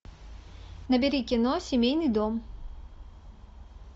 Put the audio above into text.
набери кино семейный дом